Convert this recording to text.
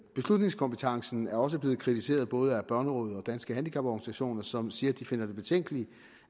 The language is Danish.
beslutningskompetencen er også blevet kritiseret både af børnerådet og danske handicaporganisationer som siger at de finder det betænkeligt